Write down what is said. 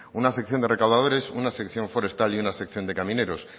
una sección de recaudadores una sección forestal y una sección de camineros